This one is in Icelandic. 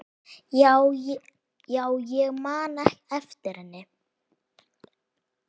Já, ég man eftir henni.